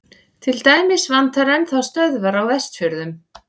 til dæmis vantar enn þá stöðvar á vestfjörðum